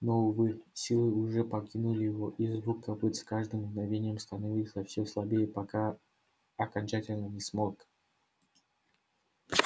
но увы силы уже покинули его и звук копыт с каждым мгновением становился все слабее пока окончательно не смолк